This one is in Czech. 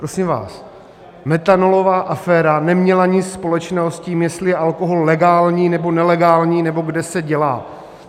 Prosím vás, metanolová aféra neměla nic společného s tím, jestli je alkohol legální nebo nelegální nebo kde se dělá.